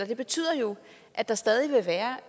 det betyder jo at der stadig vil være